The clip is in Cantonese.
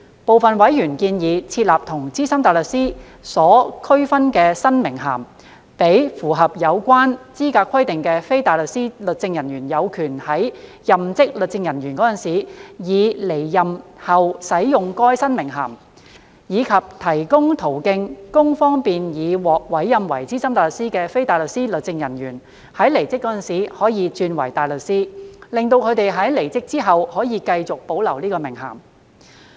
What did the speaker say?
部分委員建議設立與"資深大律師"有所區分的新名銜，讓符合有關資格規定的非大律師律政人員有權在任職律政人員時以至離任後使用該新名銜，以及提供途徑方便已獲委任為資深大律師的非大律師律政人員，在離職時可以轉為大律師，使他們在離職後可繼續保留該名銜。